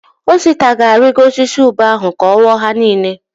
Osita ga-arịgo osisi ube ahụ ka ọ ghọọ ha niile.